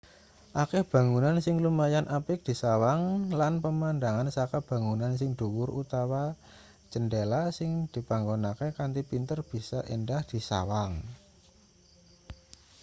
akeh bangunan sing lumayan apik disawang lan pemandangan saka bangunan sing dhuwur utawa cendhela sing dipanggonke kanthi pinter bisa endah disawang